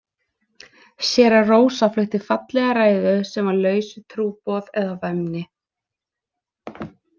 Séra Rósa flutti fallega ræðu sem var laus við trúboð eða væmni.